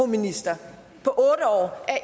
ministeren